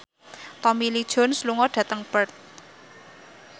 Tommy Lee Jones lunga dhateng Perth